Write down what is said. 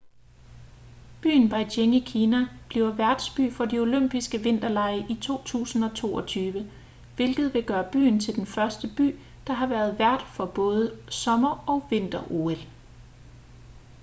byen beijing i kina bliver værtsby for de olympiske vinterlege i 2022 hvilket vil gøre byen til den første by der har været vært for både sommer- og vinter-ol